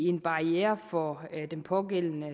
en barriere for den pågældende